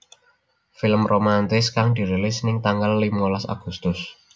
Film romantis kang dirilis ning tanggal limolas Agustus